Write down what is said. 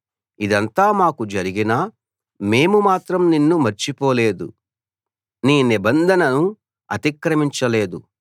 ఇదంతా మాకు జరిగినా మేము మాత్రం నిన్ను మర్చిపోలేదు నీ నిబంధనను అతిక్రమించలేదు